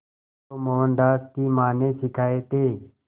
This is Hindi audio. जो मोहनदास की मां ने सिखाए थे